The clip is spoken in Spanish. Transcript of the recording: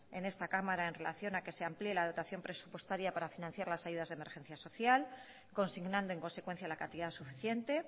en esta cámara en relación a que se amplié la dotación presupuestaria para financiar las ayudas de emergencia social consignando en consecuencia la cantidad suficiente